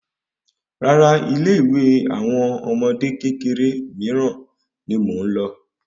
Rárá ilé ìwé àwọn ọmọdé kékeré miiran ni mo n lọ